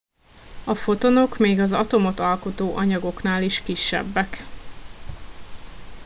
a fotonok még az atomot alkotó anyagoknál is kisebbek